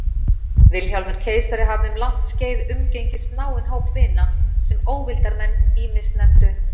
Vilhjálmur keisari hafði um langt skeið umgengist náinn hóp vina, sem óvildarmenn ýmist nefndu